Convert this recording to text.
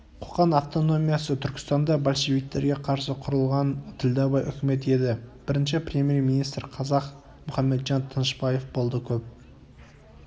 қоқан автономиясы түркістанда большевиктерге қарсы құрылған ділдәбай үкімет еді бірінші премьер-министр қазақ мұхамеджан тынышбаев болды көп